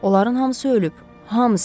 Onların hamısı ölüb, hamısı.